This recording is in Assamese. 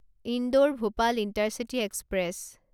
Indore Bhopal intercity express